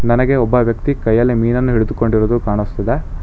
ನನಗೆ ಒಬ್ಬ ವ್ಯಕ್ತಿ ಕೈಯಲ್ಲಿ ಮೀನನ್ನು ಹಿಡಿದುಕೊಂಡಿರುದು ಕಾಣಿಸ್ತದೆ.